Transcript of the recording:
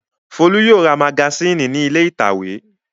Folú yóò ra magasínì ní ilé ìtàwé.